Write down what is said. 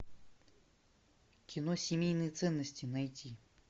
кино семейные ценности найти